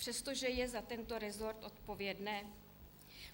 Přestože je za tento resort odpovědné?